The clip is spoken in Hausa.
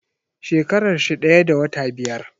Shekarar shi daya da wata biyar.